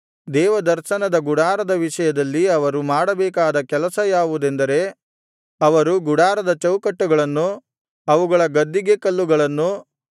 ದೇವದರ್ಶನದ ಗುಡಾರದ ವಿಷಯದಲ್ಲಿ ಅವರು ಮಾಡಬೇಕಾದ ಕೆಲಸ ಯಾವುದೆಂದರೆ ಅವರು ಗುಡಾರದ ಚೌಕಟ್ಟುಗಳನ್ನು ಅಗುಳಿಗಳನ್ನು ಕಂಬಗಳನ್ನು ಅವುಗಳ ಗದ್ದಿಗೆಕಲ್ಲುಗಳನ್ನು